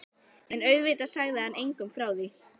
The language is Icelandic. En auðvitað sagði hann engum frá því.